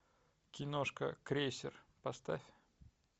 киношка крейсер поставь